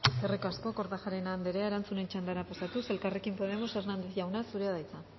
eskerrik asko eskerrik asko kortajarena andrea erantzunen txandara pasatuz elkarrekin podemos hernández jauna zurea da hitza